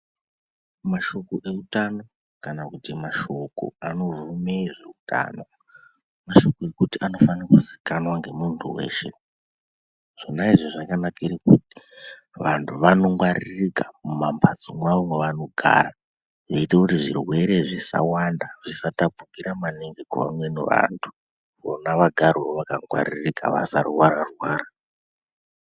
Mashoko eutano kana kuti mashoko anobvume zveutano mashoko ekuti anofane kuzikanwa ngemuntu weshe , zvona izvi zvakanakire kuti vantu vanongwaririka mumambatso mwawo mwavanogara veiita kuti zvirwere zvisawanda, zvisatapukira mangi kuvamweni vantu vona vagarewo vakangwarika vasarwara arwara.